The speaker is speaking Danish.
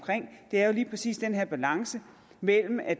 er jo lige præcis den her balance mellem at